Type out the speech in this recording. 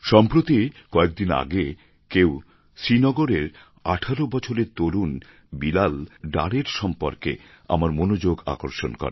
সম্প্রতি কয়েকদিন আগে কেউ শ্রীনগরের ১৮ বছরের তরুণ বিলাল ডার এর সম্পর্কে আমার মনোযোগ আকর্ষণ করে